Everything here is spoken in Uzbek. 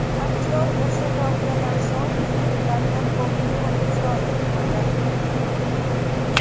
Aktyor o‘sha voqeadan so‘ng filmlarda ko‘p rol ijro etmadi.